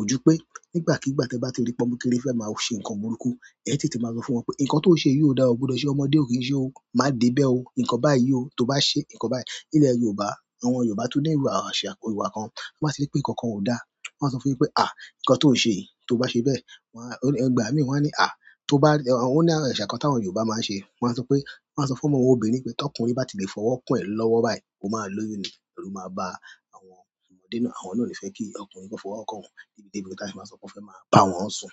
ojú pé nígbàkigbà tí ẹ bá ti rí pe ọ́mo kekéré fẹ́ máa ṣe nkàn búburú, ẹ tètè máa sọ fún wọn pé nkàn tó ṣe yìí ò dáa, o gbọdọ̀ ṣe, ọmọdé ò kín ṣe o, má dé bẹ́ẹ̀ o, nkàn báyìí o, tó bá ṣe nkàn báyìí. Nílẹ̀ Yorùbá, àwọn Yorùbá tó ní ìwà àṣà Yorùbá kan, wọ́n máa sì rí pé nkàn kan ò dáa. Wọ́n á sọ fún un pé "à, nkàn tó ṣe yìí, tó bá ṣe bẹ́ẹ̀", wọ́n á, nígbà míì wọ́n á ní "à, tó bá", ó ní àrọ̀ ìṣàkán tí àwọn Yorùbá máa ń ṣe. Wọ́n á sọ pé, wọ́n á sọ fún ọmọ obìnrin pé tí ọkùnrin bá ti lè fọwọ́ kan ẹ́ lọ́wọ́ báyìí, ó máa lóyún ni, ẹrú máa bá àwọn ọmọdé náà, àwọn náà ò ní fẹ́ kí ọkùnrin kan fọwọ́ kàn wọ́n níbi-débi bí táyà bá sọ pé ó fẹ́ máa bá wọn sùn.